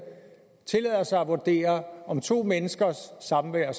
tillader sig at vurdere om to menneskers samvær